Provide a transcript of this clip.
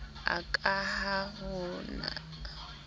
a ka ha ho na